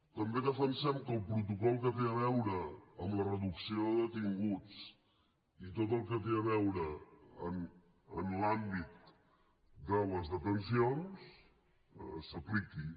també defensem que el protocol que té a veure amb la reducció de detinguts i tot el que té a veure amb l’àmbit de les detencions s’apliqui